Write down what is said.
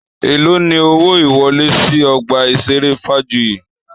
Èló ni owó ìwọlé sì ọgbà ìṣeré Fajuyi?